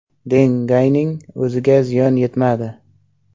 Deng Gayning o‘ziga ziyon yetmadi.